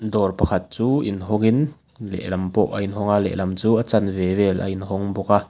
dawr pakhat chu inhawngin lehlam pawh a inhawng a lehlam chu a chanve vel a inhawng bawk a.